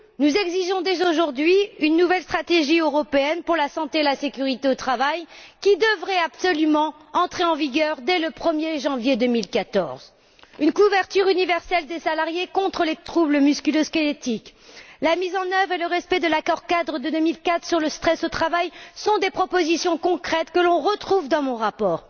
Nous exigeons dès aujourd'hui une nouvelle stratégie européenne pour la santé et la sécurité au travail, qui devrait absolument entrer en vigueur dès le 1er janvier 2014. La couverture universelle des salariés contre les troubles musculo squelettiques ainsi que la mise en œuvre et le respect de l'accord cadre de 2004 sur le stress au travail sont des propositions concrètes que l'on retrouve dans mon rapport.